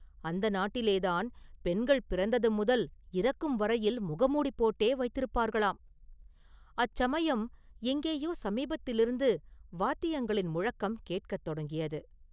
அந்த நாட்டிலேதான் பெண்கள் பிறந்தது முதல் இறக்கும் வரையில் முகமூடி போட்டே வைத்திருப்பார்களாம்!”அச்சமயம் எங்கேயோ சமீபத்திலிருந்து வாத்தியங்களின் முழக்கம் கேட்கத் தொடங்கியது.